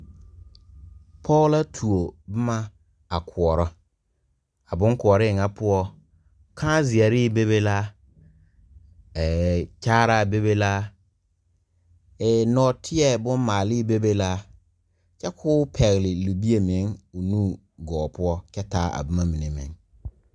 Poɔ la tuo buma a kouro a bun kouree nga pou kaãzeeree bebe la kyaaraa bebe la noɔtei bun maalee bebe la kye kuo pɛgli libie meng ɔ nu goɔ pou kye taa a buma mene meng.